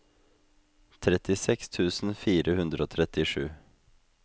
trettiseks tusen fire hundre og trettisju